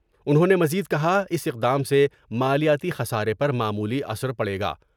انہوں نے مزید کہا اس اقدام سے مالیاتی خسارے پر معمولی اثر پڑے گا ۔